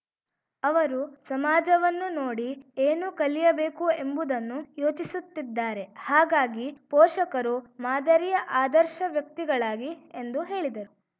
ಅವರು ಸಮಾಜವನ್ನು ನೋಡಿ ಏನು ಕಲಿಯಬೇಕು ಎಂಬುದನ್ನು ಯೋಚಿಸುತ್ತಿದ್ದಾರೆ ಹಾಗಾಗಿ ಪೋಷಕರು ಮಾದರಿಯ ಆದರ್ಶ ವ್ಯಕ್ತಿಗಳಾಗಿ ಎಂದು ಹೇಳಿದರು